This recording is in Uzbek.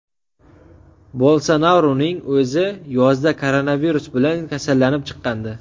Bolsonaruning o‘zi yozda koronavirus bilan kasallanib chiqqandi.